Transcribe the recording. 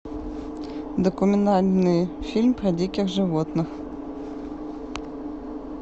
документальный фильм про диких животных